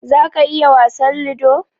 za ka iya wasan lido?